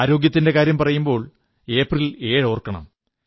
ആരോഗ്യത്തിന്റെ കാര്യം പറയുമ്പോൾ ഏപ്രിൽ 7 ഓർക്കണം